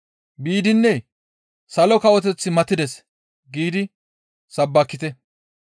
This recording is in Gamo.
Biidinne, ‹Salo kawoteththi matides!› giidi sabbakite.